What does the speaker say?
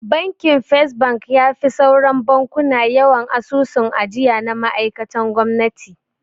Bakin First bank yafi sauran bankuna yawan asusun ajiya na ma'aikan gwamnati.